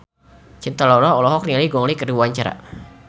Cinta Laura olohok ningali Gong Li keur diwawancara